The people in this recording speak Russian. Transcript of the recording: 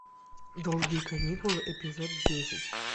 долгие каникулы эпизод десять